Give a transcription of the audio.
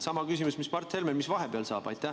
Sama küsimus mis Mart Helmel: mis vahepeal saab?